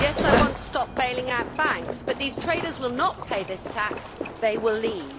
Yes, I want to stop bailing out banks, but these traders will not pay this tax, they will leave.